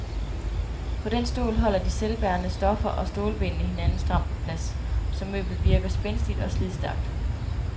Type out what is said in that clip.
På den stol holder de selvbærende stoffer og stålbenene hinanden stramt på plads, så møblet virker spændstigt og slidstærkt.